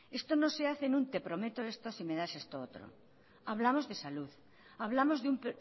esto no se hace en un te prometo esto si me das esto otro hablamos de salud hablamos de un